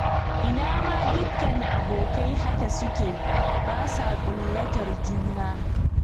Ina ma dukka abokai haka suke, ba sa ƙullatar juna?